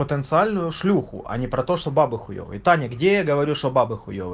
потенциальную шлюху а не про то что бабы хуевые таня где я говорю что бабы хуевые